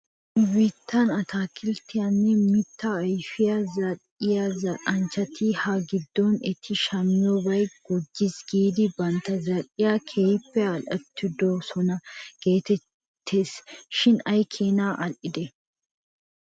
Nu biittan ataakilttiyaanne mittaa ayfiyaa zal'iyaa zal'anchchati ha giddon eti shamiyoobay gujjis giidi bantta zal'iyaa keehi al'ettidosona geettes shin aykeenaa al'idee?